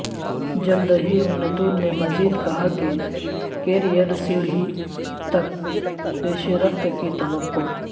جلد ہی انتون نے مزید کہا کہ کیریئر سیڑھی تک پیشرفت کی توقع